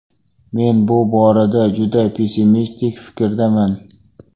Men bu borada juda pessimistik fikrdaman.